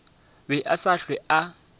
be a sa hlwe a